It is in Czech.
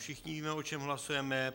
Všichni víme, o čem hlasujeme.